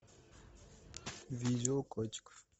видео котиков